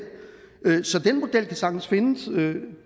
så den model kan sagtens findes